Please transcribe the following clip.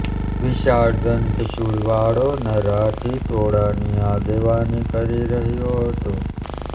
વિશાળ દંતશૂળવાળો નર હાથી ટોળાંની આગેવાની કરી રહ્યો હતો